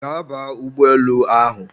Gaa baa ụgbọelu ahụ!